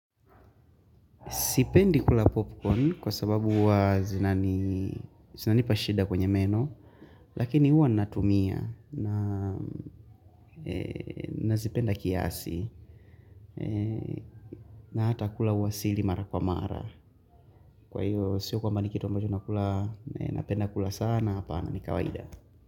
Sipendi kula popcorn kwa sababu huwa zinanipa shida kwenye meno Lakini huwa natumia Nazipenda kiasi na hata kula huwa sili mara kwa mara. Kwa hiyo, siyo kwamba ni kitu ambacho napenda kula sana, hapana, ni kawaida.